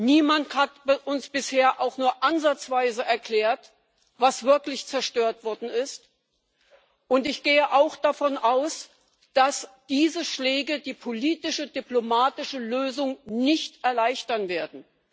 Niemand hat uns bisher auch nur ansatzweise erklärt, was wirklich zerstört worden ist, und ich gehe auch davon aus, dass diese Schläge die politische, diplomatische Lösung nicht erleichtern werden.